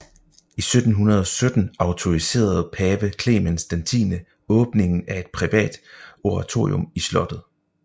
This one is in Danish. I 1717 autoriserede Pave Clemens XI åbningen af et privat oratorium i slottet